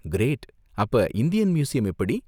Great, அப்ப Indian museum எப்படி?